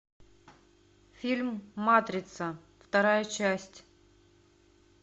фильм матрица вторая часть